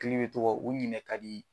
tɔgɔ u ɲinɛ ka di.